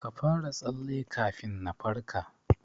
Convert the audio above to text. Ka fara tsalle kafin na farka.